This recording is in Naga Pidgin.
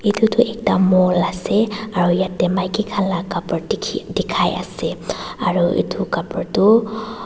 etu toh ekta mall aru yate maiki khan laga kapar dekhi ase aru etu kapar toh.